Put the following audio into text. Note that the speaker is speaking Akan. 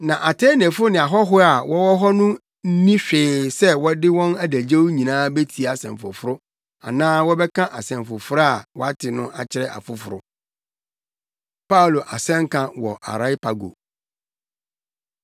Na Atenefo ne ahɔho a wɔwɔ hɔ no nni hwee yɛ sɛ wɔde wɔn adagyew nyinaa betie nsɛm foforo anaa wɔbɛka nsɛm foforo a wɔate no akyerɛ afoforo. Paulo Asɛnka Wɔ Areopago